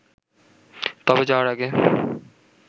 তবে যাওয়ার আগে